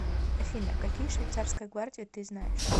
афина какие швейцарская гвардия ты знаешь